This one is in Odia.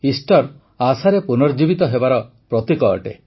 ଇଷ୍ଟର ଆଶାର ପୁନର୍ଜୀବିତ ହେବାର ପ୍ରତୀକ ଅଟେ